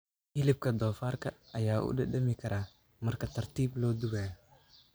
Hilibka doofaarka ayaa u dhadhami kara marka tartiib loo dubayo.